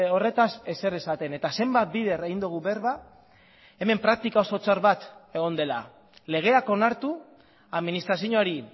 horretaz ezer esaten eta zenbat bider egin dugu berba hemen praktika oso txar bat egon dela legeak onartu administrazioari